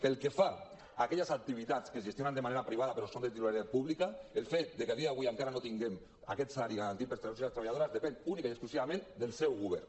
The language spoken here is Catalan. pel que fa a aquelles activitats que es gestionen de manera privada però són de titularitat pública el fet que a dia d’avui encara no tinguem aquest salari garantit per als treballadors i les treballadores depèn únicament i exclusivament del seu govern